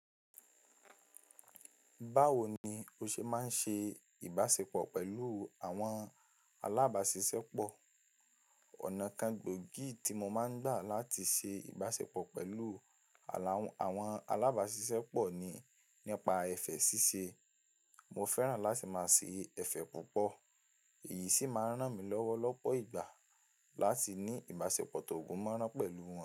Báwo ni o ṣe máa ń ṣe ìbáṣepọ̀ pẹ̀lú àwọn alábáṣiṣẹ́pọ̀? Ọ̀nà kan gbòógì tí mo máa ń gbà láti ṣe ìbáṣepọ̀ pẹ̀lú àwọn alábáṣiṣẹ́pọ̀ ni nípa ẹ̀fẹ̀ ṣíṣe. Mo fẹ́ràn láti máa ṣe ẹfẹ̀ púpọ̀, èyí sì máa ń ràn mí lọ́wọ́ lọ́pọ̀ ìgbà láti ní ìbáṣepọ̀ tó gúnmọ̀rán pẹ̀lú wọn.